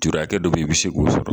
hakɛ dɔ be yen i bi se k'o sɔrɔ.